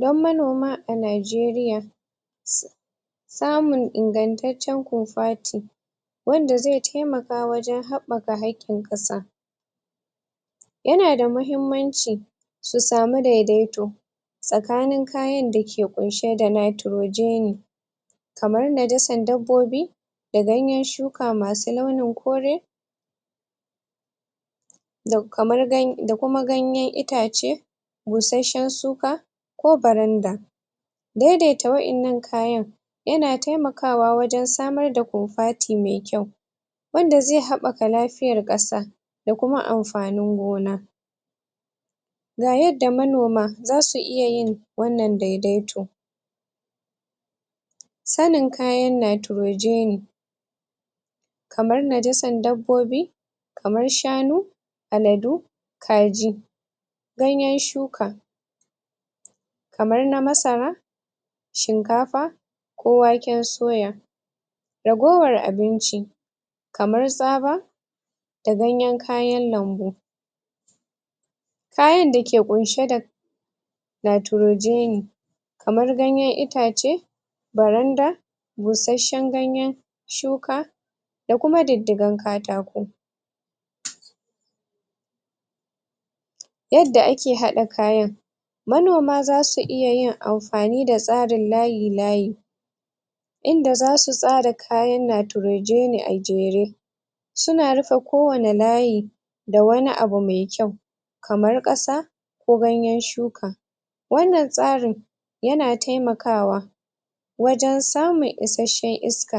Dan manoma a Najeriya samun ingantaccen kofati wanda zai taimaka wajen haɓɓaka haƙin ƙasa yana da mahimmanci su samu daidaito tsakanin kayan dake ƙunshe da nitrogen kamar najasan dabbobi da ganyen shuka masu launin kore da kamar, da kuma ganyen itace basashen shuka ko baranda daidaita waƴannan kayan yana taimakawa wajen samar da kofati me kyau wanda zai haɓɓaka lafiyar ƙasa da kuma amfanin gona ga yadda manoma zasu iya yin wannan daidaito sanin kayan nitrogeni kamar najasan dabbobi kamar shanu, aladu, kaji, ganyen shuka kamar na masara shinkafa, ko waken suya ragowar abinci kamar tsaba da ganyen kayan lambu kayan da ke ƙunshe da nitrogeni kamar ganyen itace baranda busashen ganyen shuka da kuma diddigan katako yadda ake haɗa kayan manoma zasu iya yin amfani da tsarin layi-layi inda zasu tsara kayan nitrogeni da jere suna rufe kowani layi da wani abu me kyau kamar ƙasa ko ganyen shuka wannan tsarin yana taimakawa wajen samun isashen iska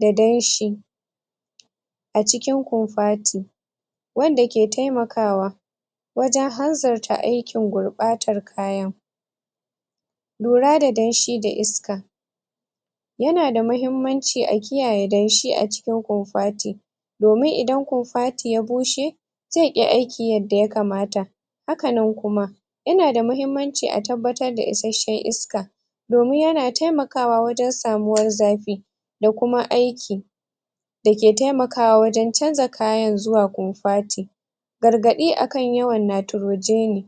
da danshi a cikin kofati wanda ke taimakawa wajen hanzarta aikin gurɓatar kayan lura da danshi da iska yana da mahimmanci a kiyaye danshi a cikin kofati domin idan kofati ya bushe zai ƙi aiki yadda yakamata haka nan kuma yana da mahimmanci a tabbatar da isashen iska domin yana taimakawa wajen samuwar zafi da kuma aiki da ke taimakawa wajen canza kayan zuwa kofati gargaɗi akan yawan nitrogeni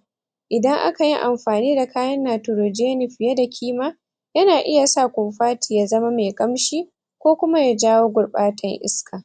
idan aka yi amfani da kayan nitrogeni fiye da kima yana iya sa kofati ya zama me ƙamshi ko kuma ya jawo gurɓatan iska.